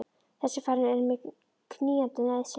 Þessi ferð er mér knýjandi nauðsyn.